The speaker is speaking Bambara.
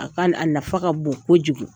A ka, a nafa ka bon kojugu .